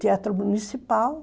Teatro municipal.